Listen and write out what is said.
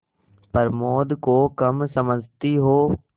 प्रमोद को कम समझती हो